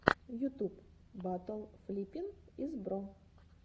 ютуб батл флиппин из бро